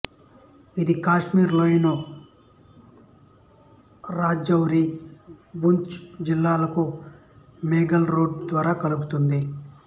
ఇది కాశ్మీర్ లోయను రాజౌరి పూంచ్ జిల్లాలకు మొఘల్ రోడ్ ద్వారా కలుపుతుంది